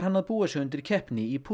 að búa sig undir keppni í